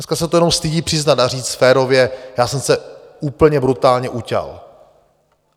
Dneska se to jenom stydí přiznat a říct férově: Já jsem se úplně brutálně uťal.